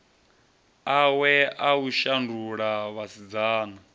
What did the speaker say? awe a u shandula vhasidzana